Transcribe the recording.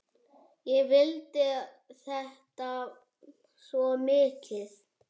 Ég vildi þetta svo mikið.